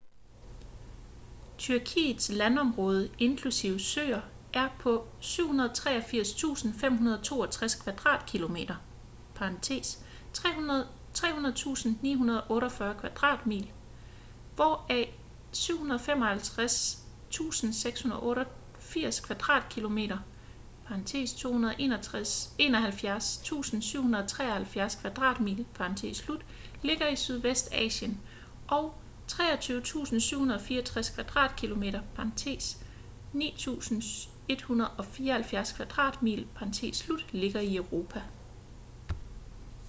tyrkiets landområde inklusive søer er på 783.562 kvadratkilometer 300.948 kvadratmil hvoraf 755.688 kvadratkilometer 291.773 kvadratmil ligger i sydvestasien og 23.764 kvadratkilometer 9.174 kvadratmil ligger i europa